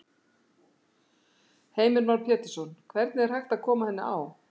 Heimir Már Pétursson: Hvernig er hægt að koma henni á?